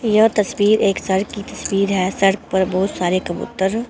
यह तस्वीर एक सड़क की तस्वीर है सड़क पर बहुत सारे कबूतर--